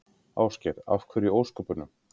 Ásgeir: Af hverju í ósköpunum?